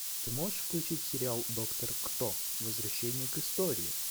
ты можешь включить сериал доктор кто возвращение к истории